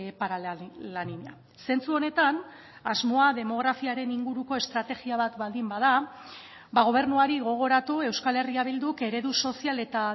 para la niña zentzu honetan asmoa demografiaren inguruko estrategia bat baldin bada gobernuari gogoratu euskal herria bilduk eredu sozial eta